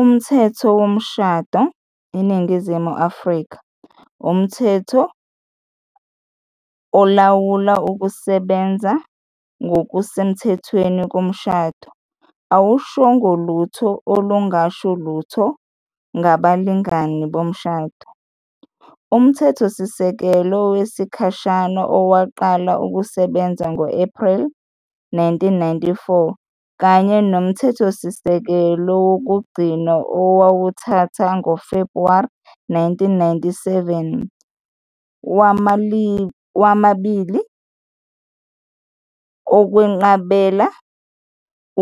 Umthetho Womshado, iNingizimu Afrika, umthetho olawula ukusebenza ngokusemthethweni komshado, awushongo lutho olungasho lutho ngabalingani bomshado. UMthethosisekelo wesikhashana owaqala ukusebenza ngo-Ephreli 1994, kanye noMthethosisekelo wokugcina owawuthatha ngoFebhuwari 1997, womabili ukwenqabela